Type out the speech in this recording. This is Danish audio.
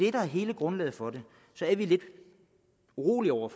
er hele grundlaget for det så er vi lidt urolige over